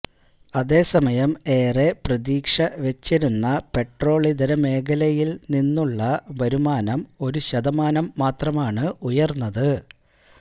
അതേസമയം ഏറെ പ്രതീക്ഷ വെച്ചിരുന്ന പെട്രോളിതര മേഖലയില് നിന്നുള്ള വരുമാനം ഒരു ശതമാനം മാത്രമാണ് ഉയര്ന്നത്